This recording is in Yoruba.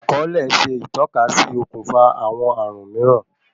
Akòle ṣe ìtọ́kasí okùnfà àwọn ààrùn míìrán.